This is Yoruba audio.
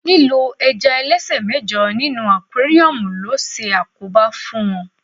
lílo ẹja ẹlẹsẹ mẹjọ ní inú aquarium lo se àkóbá fún wón